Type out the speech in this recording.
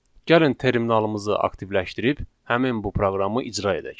Gəlin terminalımızı aktivləşdirib həmin bu proqramı icra edək.